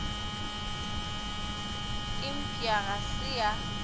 e mpšha ga se ya